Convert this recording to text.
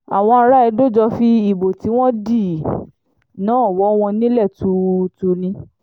àwọn ará edo jọ fi ìbò tí wọ́n dì náà wọ̀ wọ́n nílẹ̀ tuurutu ni